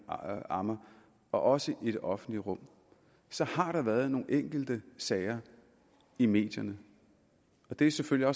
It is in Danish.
ammer også i det offentlige rum så har der været nogle enkelte sager i medierne det er selvfølgelig